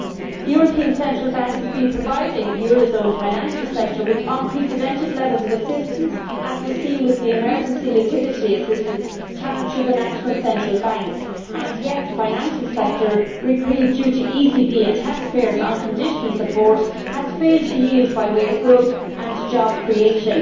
The European Central Bank has been providing the euro area financial sector with unprecedented levels of assistance, as was seen with the emergency liquidity assistance channelled through the national central banks, and yet the financial sector, reprieved due to ECB and taxpayersʼ unconditional support, has failed to yield by way of growth and job creation.